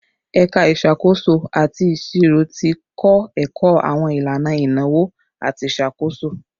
Ẹka Isakoso ati Iṣiro ti kọ ẹkọ awọn ilana inawo ati iṣakoso